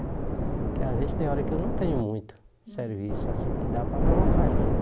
Porque às vezes tem hora que eu não tenho muito serviço, assim, que dá para colocar gente.